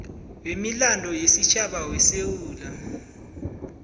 wemilando yesitjhaba wesewula